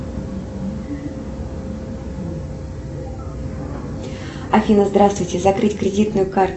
афина здравствуйте закрыть кредитную карту